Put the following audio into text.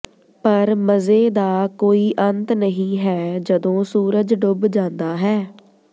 ਪਰ ਮਜ਼ੇ ਦਾ ਕੋਈ ਅੰਤ ਨਹੀਂ ਹੈ ਜਦੋਂ ਸੂਰਜ ਡੁੱਬ ਜਾਂਦਾ ਹੈ